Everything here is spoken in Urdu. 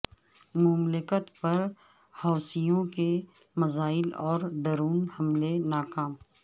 مملکت پر حوثیوں کے میزائل اور ڈرون حملے ناکام